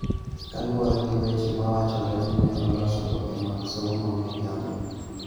kaluwore gi weche mawachore ni ne oloso oboke mag somo ma miriambo.